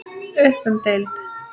Upp um deild